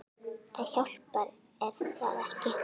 Það hjálpar er það ekki?